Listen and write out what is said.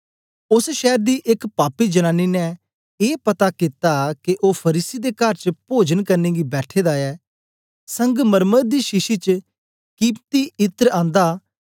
ओस शैर दी एक पापी जनानी ने ए पता कित्ता के ओ फरीसी दे कर च पोजन करने गी बैठे दा ऐ संगमरमर दी शीशी च कीमती इत्र आंदा